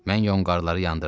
Mən yonğarları yandırdım.